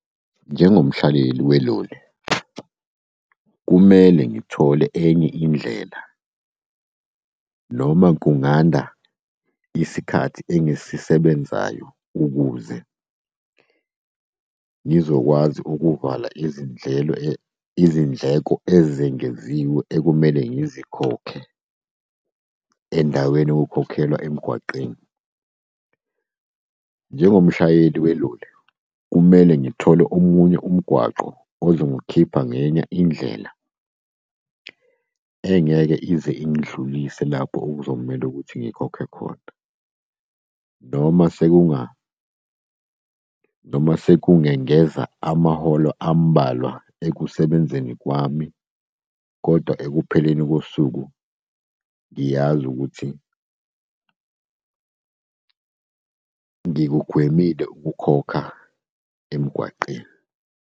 Njengomhlaleli weloli, kumele ngithole enye indlela noma kunganda isikhathi engisisebenzayo ukuze ngizokwazi ukuvala izindlelo , izindleko ezengeziwe ekumele ngizikhokhe endaweni yokukhokhelwa emgwaqeni. Njengomshayeli weloli kumele ngithole omunye umgwaqo ozongikhipha ngenye indlela engeke ize ingidlulise lapho okuzomele ukuthi ngikhokhe khona. Noma sekungengeza amaholo ambalwa ekusebenzeni kwami, kodwa ekupheleni kosuku ngiyazi ukuthi ngikugwemile ukukhokha emgwaqeni.